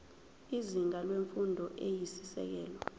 izinga lemfundo eyisisekelo